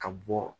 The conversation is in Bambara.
Ka bɔ